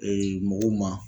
mɔgɔw ma.